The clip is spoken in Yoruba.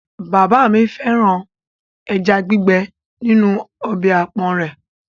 Bàbá mi fẹ́ràn ẹja gbígbẹ́ nínú ọbẹ̀ àpọ̀n rẹ̀.